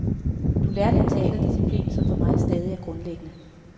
Du lærte en teaterdisciplin, som for mig stadig er grundlæggende.